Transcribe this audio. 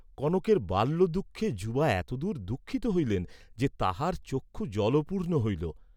কনকের বাল্যদুঃখে যুবা এতদূর দুঃখিত হইলেন যে তাঁহার চক্ষু জলপূর্ণ হইল!